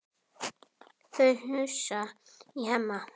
Það hnussar í Hemma.